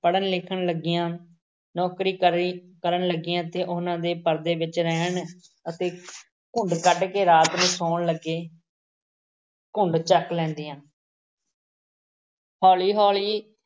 ਪੜ੍ਹਨ-ਲਿਖਣ ਲੱਗੀਆਂ, ਨੌਕਰੀ ਕਰੀ ਕਰਨ ਲੱਗੀਆਂ ਤੇ ਉਹਨਾਂ ਨੇ ਪਰਦੇ ਵਿੱਚ ਰਹਿਣ ਅਤੇ ਘੁੰਡ ਕੱਢ ਕੇ ਰਾਤ ਨੂੰ ਸੌਣ ਲੱਗੇ ਘੁੰਡ ਚੱਕ ਲੈਂਦੀ ਹੈ ਹੌਲੀ ਹੌਲੀ